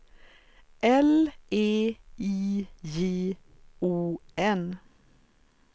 L E I J O N